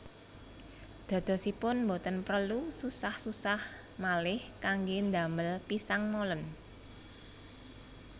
Dadosipun boten prelu susah susah malih kanggé damel pisang molen